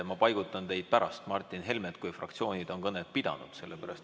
Ma paigutan teid pärast Martin Helmet, kui fraktsioonid on kõned ära pidanud.